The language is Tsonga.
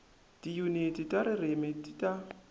tiyuniti ta ririmi ti ta